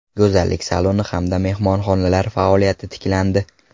Go‘zallik saloni hamda mehmonxonalar faoliyati tiklandi.